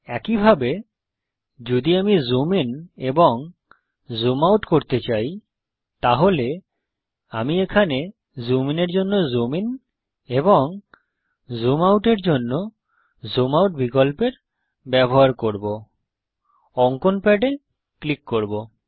একইভাবে যদি আমি জুম ইন এবং জুম আউট করতে চাই তাহলে আমি এখানে জুম ইন এর জন্য জুম ইন এবং জুম আউট এর জন্য জুম আউট বিকল্পের ব্যবহার করব অঙ্কন প্যাডে ক্লিক করব